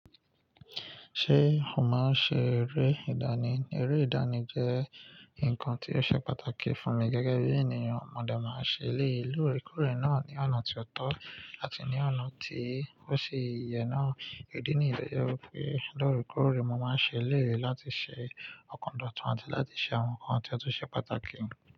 Ṣé o máa ń ṣe eré ìdánì? Eré ìdánì jẹ́ nǹkan tí ó ṣe pàtàkì fún mi gẹ́gẹ́ bí ènìyàn. Mo dá máa ń ṣe eleyi lóre koore náà ní ọ̀nà tí ó tọ́ àti ní ọ̀nà tí ò ṣi i yè náà. Idi ní yen to je wipe, lóreekore, mo máa ń ṣe eleyi láti ṣọ okan dotun àti láti ṣe àwọn nǹkan tí ó tún ṣe pàtàkì.